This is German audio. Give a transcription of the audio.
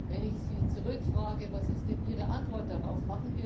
Wenn ich Sie zurückfrage Was ist denn Ihre Antwort darauf?